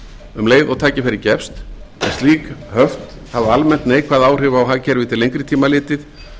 um leið og tækifæri gefst en slík höft hafa almennt neikvæð áhrif á hagkerfi til lengri tíma litið